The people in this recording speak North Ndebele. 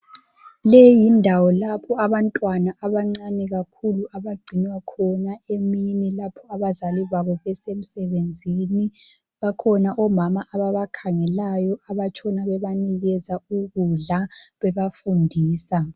Leyi yindawo lapho abantwana abancane kakhulu abagcinwa khona emini lapho abazali babo besemsebenzini bakhona omama ababakhangelayo abatshona bebanikeza ukudla bebafundisa.